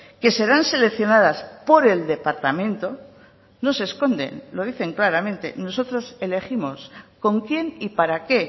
que serán seleccionadas por el departamento no se esconden lo dicen claramente nosotros elegimos con quién y para qué